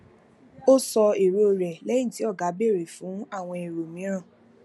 ó sọ èrò rẹ lẹyìn tí ọga béèrè fún àwọn èrò mìíràn